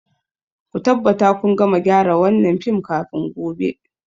Ku tabbata kun gama gyara wannan fim kafin gobe.